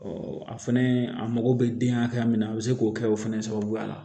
a fɛnɛ a mago bɛ den hakɛ min na a bɛ se k'o kɛ o fɛnɛ sababuya la